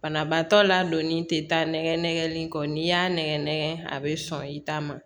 Banabaatɔ ladonni tɛ taa nɛgɛli kɔ n'i y'a nɛgɛn nɛgɛn a bɛ sɔn i ta ma